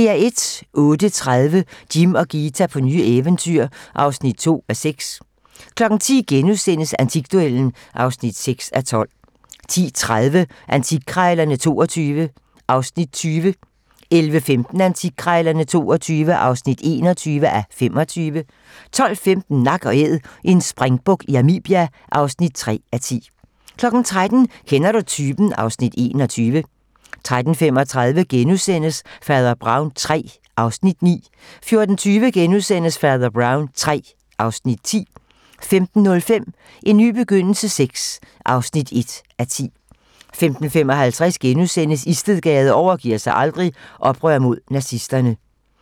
08:30: Jim og Ghita på nye eventyr (2:6) 10:00: Antikduellen (8:12)* 10:30: Antikkrejlerne XXII (20:25) 11:15: Antikkrejlerne XXII (21:25) 12:15: Nak & Æd - en springbuk i Namibia (3:10) 13:00: Kender du typen? (Afs. 21) 13:35: Fader Brown III (Afs. 9)* 14:20: Fader Brown III (Afs. 10)* 15:05: En ny begyndelse VI (1:10) 15:55: Istedgade overgiver sig aldrig - Oprør mod nazisterne *